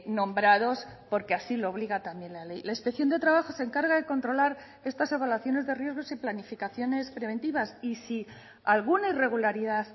nombrados porque así lo obliga también la ley la inspección de trabajo se encarga de controlar estas evaluaciones de riesgos y planificaciones preventivas y si alguna irregularidad